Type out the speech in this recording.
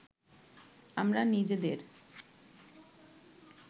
আমরা নিজেদের